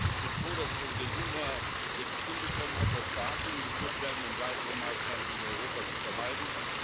Ich bin froh, dass Präsident Juncker es jetzt hinbekommen hat, dass Verhandlungen geführt werden, um weitere Maßnahmen gegen Europa zu vermeiden.